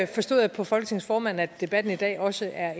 forstod jeg på folketingets formand at debatten i dag også er